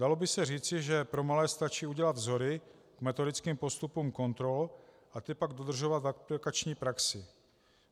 Dalo by se říci, že pro malé stačí udělat vzory k metodickým postupům kontrol a ty pak dodržovat v aplikační praxi.